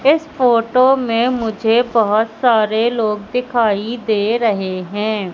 इस फोटो में मुझे बहोत सारे लोग दिखाई दे रहे हैं।